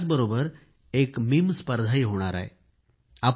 आणि त्याचबरोबर एक मीम मेमे स्पर्धाही होणार आहे